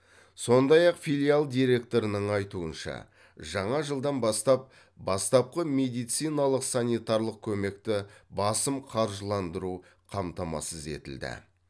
сондай ақ филиал директорының айтуынша жаңа жылдан бастап бастапқы медициналық санитарлық көмекті басым қаржыландыру қамтамасыз етілді